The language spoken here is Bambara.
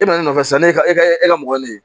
E bɛna ne nɔfɛ sisan ne e ka mɔgɔ ye ne ye